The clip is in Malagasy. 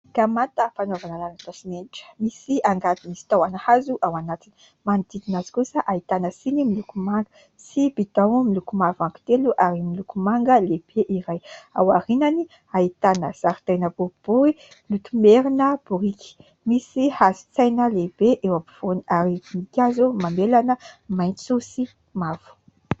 Gamata fanaovana lalotra simenitra, misy angady misy tahona hazo ao anatiny. Manodidina azy kosa ahitana siny miloko manga sy bidao miloko mavo anankitelo ary miloko manga lehibe iray. Ao aorianany ahitana zaridaina boribory notomerina biriky misy hazontsaina lehibe eo ampovoany ary voninkazo mamelana maitso sy mavo.